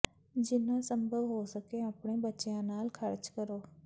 ਜਿੰਨਾ ਸੰਭਵ ਹੋ ਸਕੇ ਆਪਣੇ ਬੱਚਿਆਂ ਨਾਲ ਖਰਚ ਕਰੋ